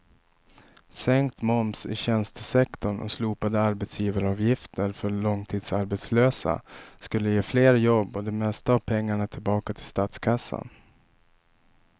Sänkt moms i tjänstesektorn och slopade arbetsgivaravgifter för långtidsarbetslösa skulle ge fler jobb och det mesta av pengarna tillbaka till statskassan.